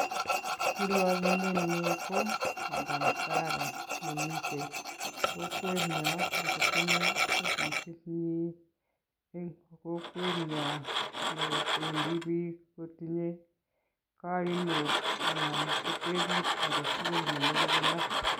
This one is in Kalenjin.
Kirwokindwnyu ko madam Sarah nemite kokwenyo akotinye ofisinyi eng kokwenyo nependi biik kotinye kaimut anan ko teput aketukul nemoche konai.